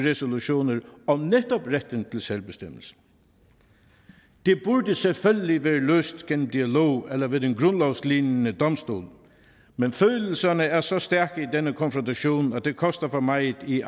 resolutioner om netop retten til selvbestemmelse det burde selvfølgelig være løst gennem dialog eller ved den grundlovslignende domstol men følelserne er så stærke i denne konfrontation at det koster for meget i